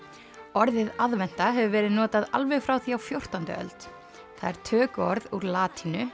orðið aðventa hefur verið notað alveg frá því á fjórtándu öld það er tökuorð úr latínu